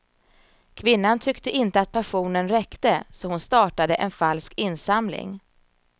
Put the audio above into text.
Kvinnan tyckte inte att pensionen räckte, så hon startade en falsk insamling.